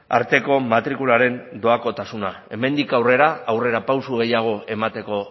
arteko matrikularen doakotasuna hemendik aurrera aurrerapauso gehiago emateko